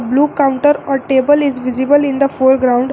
Look counter a table is visible in the for ground.